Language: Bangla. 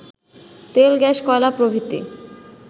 তেল-গ্যাস-কয়লা প্রভৃতি